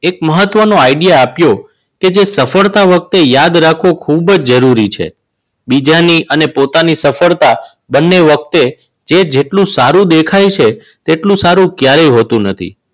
એક મહત્વનો idea આપ્યો. એ કે સફળતા વખતે યાદ રાખવું ખૂબ જ જરૂરી છે. બીજાની અને પોતાની સફળતા બંને વખતે એ જેટલું સારું દેખાય છે એટલું સારું ક્યારેય હોતું નથી.